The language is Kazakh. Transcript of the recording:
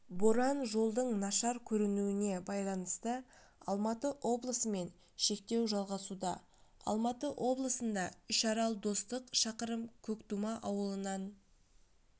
боран жолдың нашар көрінуіне байланысты алматы облысы мен шектеу жалғасуда алматы облысында үшарал-достық шақырым көктума ауылынан